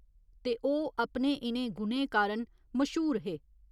ते ओह् अपने इ'नें गुणें कारण मश्हूर हे।